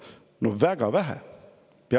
No väga vähe.